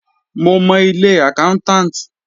Mo mọ ilé accountant.